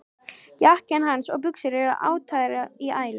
Jakkinn hans og buxurnar eru ataðar í ælu.